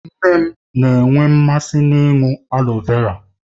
Nne m na-enwe mmasị ịṅụ aloe vera